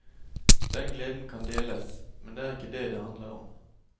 Den gleden kan deles, men det er ikke det det handler om.